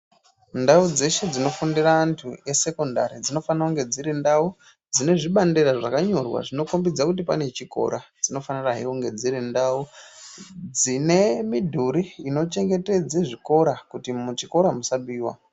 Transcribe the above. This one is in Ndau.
Ndau dzeshe dzinofundira antu esekondari dzinofana kunge dziri ndau dzine zvibandera zvakanyorwa zvinokhombidza kuti pane chikora. Dzinofanirahe kunge dziri ndau dzine midhuri inochengetedze zvikora kuti muchikora musabiwa.